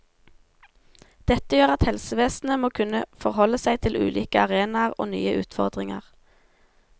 Dette gjør at helsevesenet må kunne forholde seg til ulike arenaer og nye utfordringer.